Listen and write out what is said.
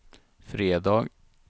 fredag